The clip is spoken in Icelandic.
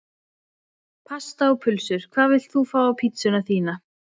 Pasta og pulsur Hvað vilt þú fá á pizzuna þína?